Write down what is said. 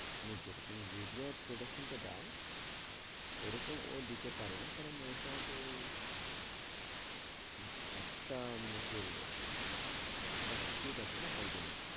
মানে যে রকম ইউরিয়া production টা দেয় ওরকম ও দিতে পারে না কারণ ওইটা তো একটা মানে কি বলবো substitute আছে না তাই জন্যে